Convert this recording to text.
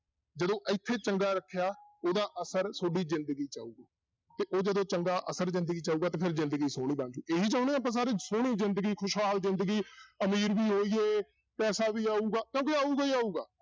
ਦੋਂ ਇੱਥੇ ਚੰਗਾ ਰੱਖਿਆ ਉਹਦਾ ਅਸਰ ਤੁਹਾਡੀ ਜ਼ਿੰਦਗੀ 'ਚ ਆਊਗਾ, ਤੇ ਉਹ ਜਦੋਂ ਚੰਗਾ ਅਸਰ 'ਚ ਆਉਗਾ ਤਾਂ ਫਿਰ ਜ਼ਿੰਦਗੀ ਸੋਹਣੀ ਬਣ ਜਾਊ ਇਹੀ ਚਾਹੁੰਦੇ ਹਾਂ ਆਪਾਂ ਸਾਰੇ, ਸੋਹਣੀ ਜ਼ਿੰਦਗੀ ਖੁਸ਼ਹਾਲ ਜ਼ਿੰਦਗੀ ਅਮੀਰ ਵੀ ਹੋਈਏ ਪੈਸਾ ਵੀ ਆਊਗਾ ਕਿਉਂਕਿ ਆਊਗਾ ਹੀ ਆਊਗਾ।